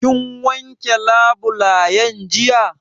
Kin wanke labulen jiya?